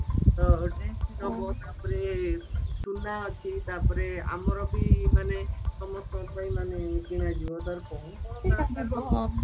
dress ବି ନବ ତାପରେ ସୁନା ଅଛି ତାପରେ ଆମର ବି ମାନେ ସମସ୍ତଙ୍କ ପାଇଁ ମାନେ କିଣାଯିବା ତାର କଣ କଣ ଦରକାର